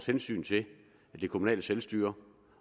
hensyn til det kommunale selvstyre